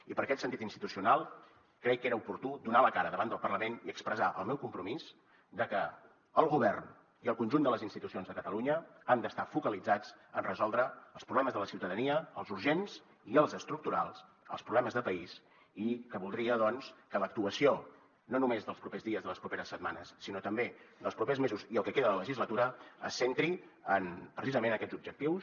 i per aquest sentit institucional crec que era oportú donar la cara davant del parlament i expressar el meu compromís de que el govern i el conjunt de les institucions de catalunya han d’estar focalitzats en resoldre els problemes de la ciutadania els urgents i els estructurals els problemes de país i que voldria doncs que l’actuació no només dels propers dies de les properes setmanes sinó també dels propers mesos i el que queda de legislatura es centri en precisament aquests objectius